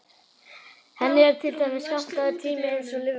Henni er til dæmis skammtaður tími eins og lífverum.